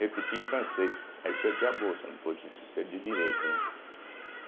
repeti em francês, aí eu perdi a bolsa, não pôde perdi o direito, né.